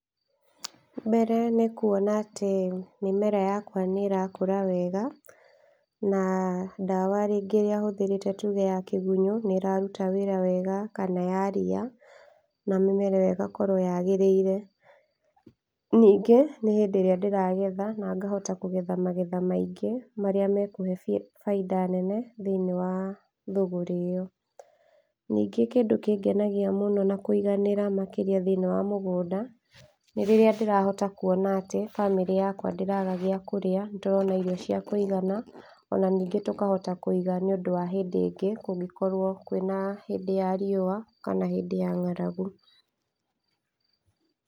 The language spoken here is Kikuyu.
Mbere nĩ kuona atĩ mĩmera yakwa nĩ ĩrakũra wega, na ndawa rĩngĩ ĩrĩa hũthĩrĩte tuge ya kĩgunyo nĩ ĩraruta wĩra wega kana ya ria, na mĩmera ĩyo ĩgakorwo yagĩrĩire, ningĩ no hĩndĩ ĩrĩa ndĩragetha na ngahota kũgetha magetha maingĩ, marĩa mekũhe baida nene thĩiniĩ wa thũgũrĩ ĩyo, ningĩ kĩndũ kĩngenagia na kũiganĩra mũno makĩria thĩiniĩ wa mũgũnda, nĩ rĩrĩa ndĩrahota kuona atĩ bamĩrĩ yakwa ndĩraga gĩa kũrĩa, nĩ tũrona irio cĩa kũigana , ona ningĩ tũkahota kũiga nĩ ũndũ wa hĩndĩ ĩngĩ kũngĩkorwo kwĩna hĩndĩ ya riũa kana hĩndĩ ya ngaragu.